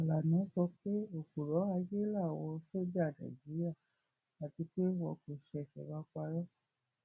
fàlànà sọ pé òpùrọ ayé làwọn sójà nàìjíríà àti pé wọn kò ṣẹṣẹ máa parọ